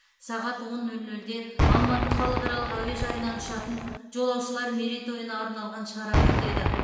сағат он нөл нөлде алматы халықаралық әуежайынан ұшатын жолаушылар мерейтойына арналған шара өтеді